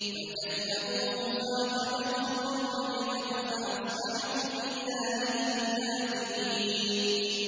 فَكَذَّبُوهُ فَأَخَذَتْهُمُ الرَّجْفَةُ فَأَصْبَحُوا فِي دَارِهِمْ جَاثِمِينَ